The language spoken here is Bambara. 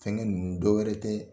Fɛnni ninnu dɔ wɛrɛ tɛ